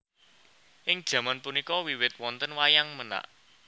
Ing jaman punika wiwit wonten Wayang Menak